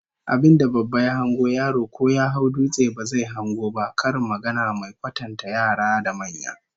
Abin da babba ya hango, yaro ko ya hau dutse ba zai hango ba, karin magana mai kwatanta yara da manya